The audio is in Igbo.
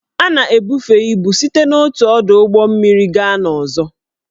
A na-ebufe ibu site n'otu ọdụ ụgbọ mmiri gaa n'ọzọ